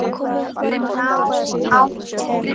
Og ná áttum.